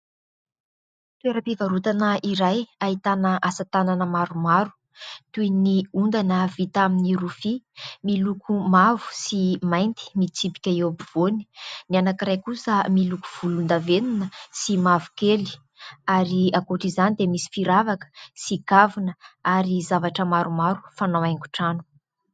Toeram-pivarotana iray ahitana asa-tanana maromaro toy ny ondana vita amin'ny rofia miloko mavo sy mainty mitsipika eo ampovoany. Ny anankiray kosa miloko volondavenona sy mavokely ary ankoatra izany dia misy firavaka sy kavina ary zavatra maromaro fanao haingon-trano.